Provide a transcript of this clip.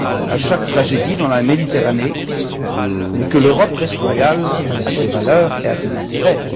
à chaque tragédie dans la Méditerranée, et l'Europe reste fidèle à ses valeurs et à ses intérêts.